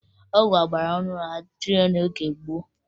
Ọgwụ ọgbarọhụrụ adịghị n'oge gboo